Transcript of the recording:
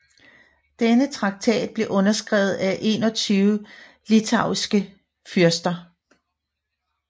Denne traktat blev underskrevet af 21 litauiske fyrster